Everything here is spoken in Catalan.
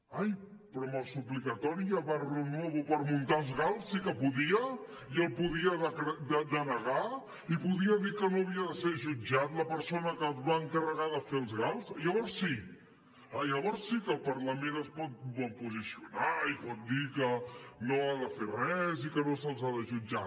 ai però amb el suplicatori a barrionuevo per muntar els gal sí que podia i el podia denegar i podia dir que no havia de ser jutjat la persona que es va encarregar de fer els gal llavors sí llavors sí que el parlament es pot posicionar i pot dir que no ha de fer res i que no se’ls ha de jutjar